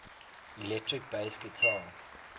electric bass guitar